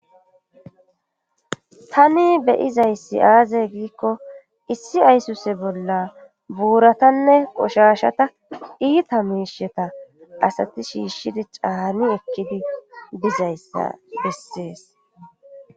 tani beyizayssi aazay giikko issi ayssuse bolla buuratanne qoshashata iita miisheta asati shiishshidi caani ekkidi dizayssa bessees